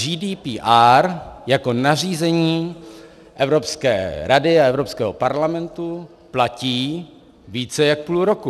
GDPR jako nařízení Evropské rady a Evropského parlamentu platí více jak půl roku.